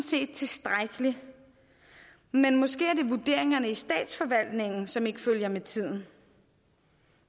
set tilstrækkelig men måske er det vurderingerne i statsforvaltningen som ikke følger med tiden